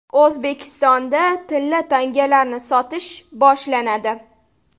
O‘zbekistonda tilla tangalarni sotish boshlanadi.